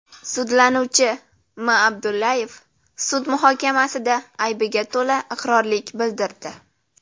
Sudlanuvchi M. Abdullayev sud muhokamasida aybiga to‘la iqrorlik bildirdi.